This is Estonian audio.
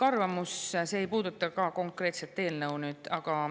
Aitäh!